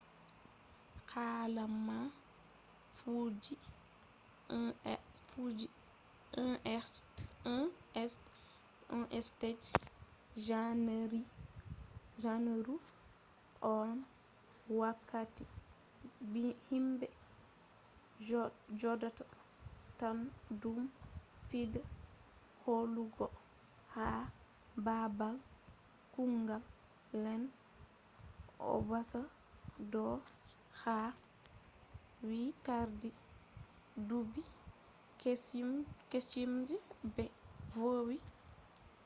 hala man fuddi 1st je janeru on wakkati himbe jodata totton duddum fuddi holugo ha babal kugal lene obanazawa do be hebai carti duubi kesum je be vowi hebugo